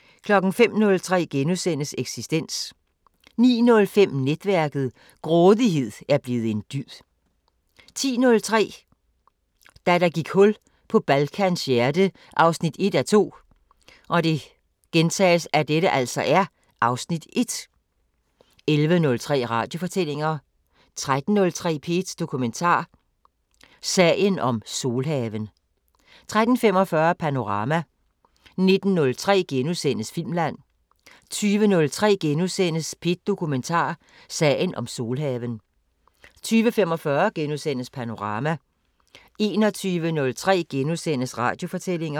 05:03: Eksistens * 09:05: Netværket: Grådighed er blevet en dyd 10:03: Da der gik hul på Balkans hjerte 1:2 (Afs. 1) 11:03: Radiofortællinger 13:03: P1 Dokumentar: Sagen om "Solhaven" 13:45: Panorama 19:03: Filmland * 20:03: P1 Dokumentar: Sagen om "Solhaven" * 20:45: Panorama * 21:03: Radiofortællinger *